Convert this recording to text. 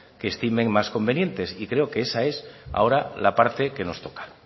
que estimen más convenientes y creo que esa es ahora la parte que nos toca